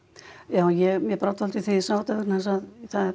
já mér brá dálítið þegar ég sá þetta vegna þess að